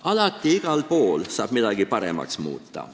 Alati ja igal pool saab midagi paremaks muuta.